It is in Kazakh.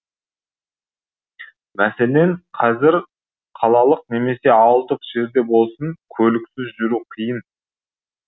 мәселен қазір қалалық немесе ауылдық жерде болсын көліксіз жүру қиын